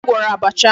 Onye gwọrọ abacha a?